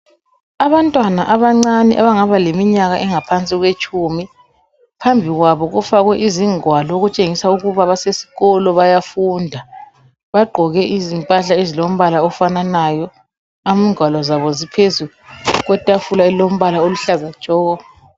Abantwana abancane abangaba leminyaka engaphansi kwetshumi phambi kwabo kufakwe izingwalo okutshengisa ukuba basesikolo bayafunda bagqoke izimpahla ezilombala ofananayo ingwalo zabo ziphezu kwetafula eliluhlaza tshoko.